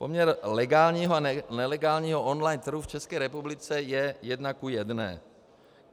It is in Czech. Poměr legálního a nelegálního online trhu v České republice je jedna ku jedné.